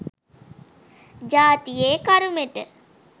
ජාතියේ කරුමෙට.